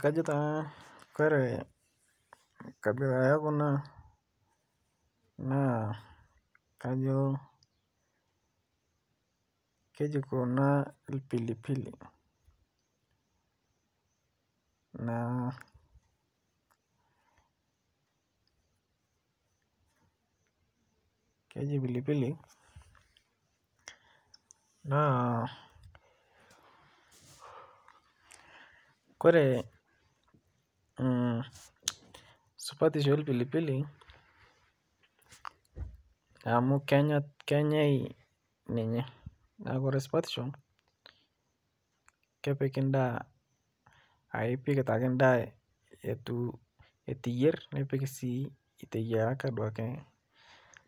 Kajo taa Kore nkabila ekuna nakajo keji kuna lpilipili Kore supatisho elpilipili amu kenyai ninye naaku Kore supatisho kepiki ndaa aaku ipik ake ndaa etu iyer nipik si iteyaraka